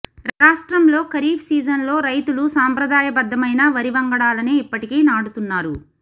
రాష్ట్రంలో ఖరీఫ్ సీజన్లో రైతులు సాంప్రదాయబద్ధమైన వరి వంగడాలనే ఇప్పటికీ నాటుతున్నారు